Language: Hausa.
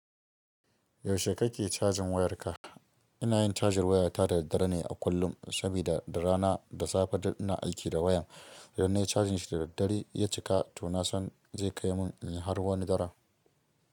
Yaushe kake cajin wayarka? Ina yin cajin waya ta da dare ne a kullum, sabida rana da safe ina aiki da wayan. Idan na yi cajin shi da daddare ya cika to na san zai kai mun har wani daren.